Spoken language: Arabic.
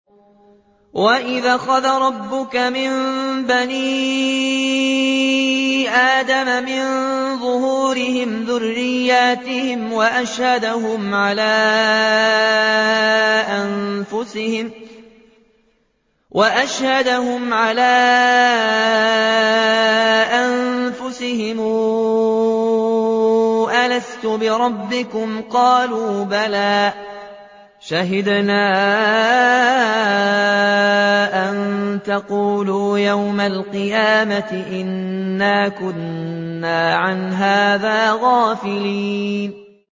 وَإِذْ أَخَذَ رَبُّكَ مِن بَنِي آدَمَ مِن ظُهُورِهِمْ ذُرِّيَّتَهُمْ وَأَشْهَدَهُمْ عَلَىٰ أَنفُسِهِمْ أَلَسْتُ بِرَبِّكُمْ ۖ قَالُوا بَلَىٰ ۛ شَهِدْنَا ۛ أَن تَقُولُوا يَوْمَ الْقِيَامَةِ إِنَّا كُنَّا عَنْ هَٰذَا غَافِلِينَ